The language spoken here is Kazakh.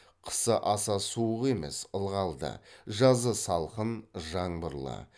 қысы аса суық емес ылғалды жазы салқын жаңбырлы